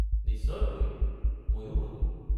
নিশ্চয়কৈ, মইও ভাবো।